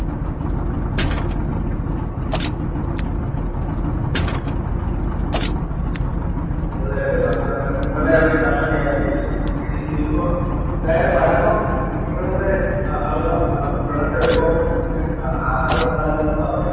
അവസാനം നിങ്ങളെ അവര് കര്‍ഷകയാക്കിയല്ലോ ഇനിപ്പം എന്തായാലും വരുമ്പോ നിങ്ങളുടെ അവിടെ വിളഞ്ഞ വിഭവം പറ്റിച്ചു ആഹാരം ഉണ്ടാക്കാനുള്ള അവസരം